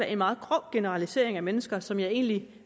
en meget grov generalisering af mennesker som jeg egentlig